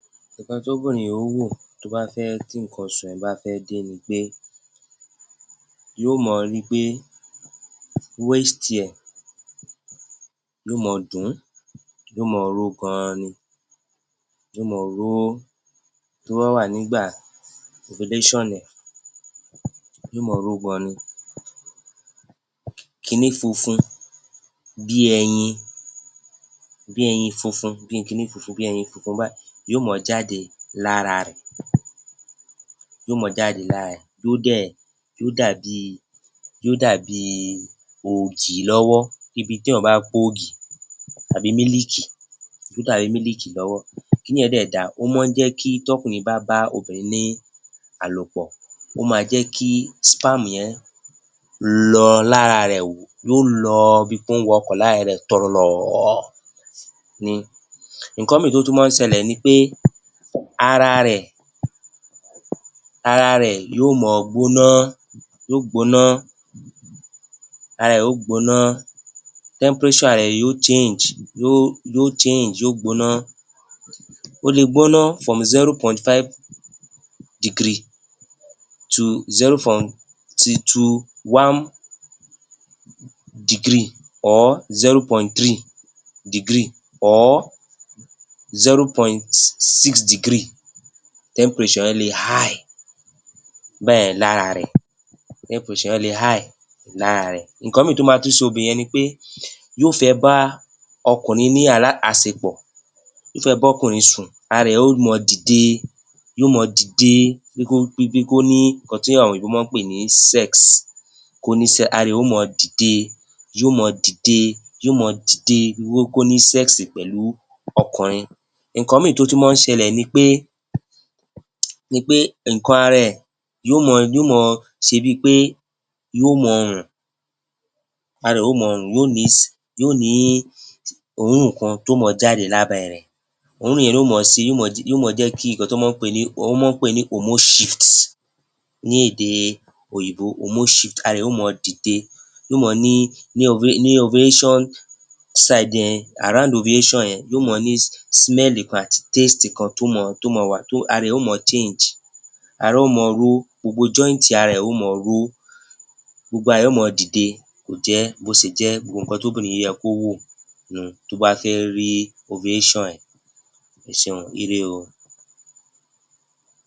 Nǹkan tóbìnrin ó wò tó bá fẹ́ tí nǹkan oṣù rẹ̀ bá fẹ́ dé ni pé yóò mọ ri wí pé [cm] yóò mọ dùn ún yóò mọ ro ó gan-an ni, yóò mọ ro ó, tó bá wà nígbà [cm] ẹ yóò mọ ro ó gan-an ni, kiní funfun bí ẹyin funfun, bí ẹyin bí ẹyin funfun kíni funfun gan-an báìí yóò mọ jáde lára ẹ yóò mọ jáde lára ẹ yóò dàbí ògì lọ́wọ́, yóò dàbí tí èèyàn bá pògì tàbí mílìkì, yóò dàbí mílìkì lọ́wọ́, kiní yẹn dẹ̀ da ó mọ́ ń jẹ́ kí tọ́kùnrin bá bá obìnrin ní àlòpọ̀ ó máa jẹ́ kí [cm] yẹn lọ lára ẹ̀, yóò lọ bí pé ó ń wọkọ̀ lára ẹ tọ̀lọ̀lọ̀ ni. Nǹkan míì tó tún mọ́ ọn ń ṣẹlẹ̀ ni pé ara rẹ̀, ara rẹ̀ yóò mọ gbóná, yóò gbóná, ara rẹ̀ yóò gbóná [cm] ara ẹ yóò [cm] yóò gbóná, ó lè gbóná [cm] le [cm] báyẹn lára ẹ̀, [cm] yẹn le [cm] lára ẹ. Nǹkan mìíràn tó tún le ṣe obìnrin yẹn ni pé yóò fẹ́ bá ọkùnrin ní àṣepọ̀ yóò fẹ́ bá ọkùnrin sùn, ara ẹ yóò mọ dìde, yóò mọ dìde bí kó ní nǹkan tí àwọn òyìnbó mọ́ ọn ń pè ní [cm], kó ní [cm], ara ẹ yóò mọ dìde, yóò mọ dìde, yóò mọ dìde, bí kó ní [cm] pẹ̀lú ọkùnrin. Nǹkan míì tó tún mọ́ ọn ń ṣẹlẹ̀ ni pé, ni pé nǹkan ara ẹ yóò mọ, yóò mọ ṣe bi pé yóò mọ rùn, ara ẹ̀ yóò mọ rùn, yóò ní òórùn kan tó mọ jáde lábẹ́ rẹ̀, òórùn yẹn ni yóò mọ̀ jẹ́ kí nǹkan tán mọ́ pè ní [cm] ní èdè òyìnbó, [cm] ara ẹ yóò mọ dìde yóò mọ ní ní [cm] ara, [cm] yóò mọ ní [cm] àti [cm] kan tó mọ, ara ẹ yóò mọ [cm]. Ara yóò mọ ro ó, gbogbo [cm] ara ẹ yóò mọ ro ó, gbogbo ara ẹ yóò mọ dìde, kò jẹ́ bó ṣe jẹ́, gbogbo nǹkan tó yẹ kóbìnrin yẹ kó wò nù un tó bá fẹ́ rí [cm]. Ẹ ṣeun o, ire o.